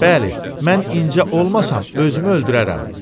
Bəli, mən incə olmasam özümü öldürərəm.